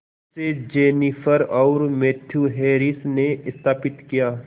इसे जेनिफर और Matthew Harris ने स्थापित किया